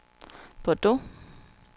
Bordeaux